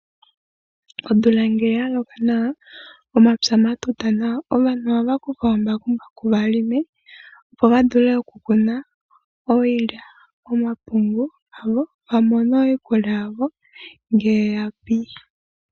Omvula ngele ya loka nawa omapya ga tuta nawa. Aantu ohaya kutha omambakumbaku ya lime opo ya vule okukuna iilya, nomapungu ya mone iikulya yawo ngele ya pi.